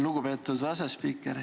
Lugupeetud asespiiker!